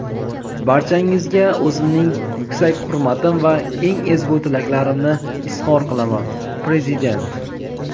barchangizga o‘zimning yuksak hurmatim va eng ezgu tilaklarimni izhor qilaman – Prezident.